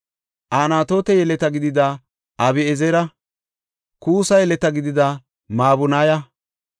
Anatoote yeleta gidida Abi7ezera, Kuussa yeleta gidida Mabunaya,